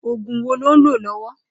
Ógún wó ló n ló lọ̀wọ̀?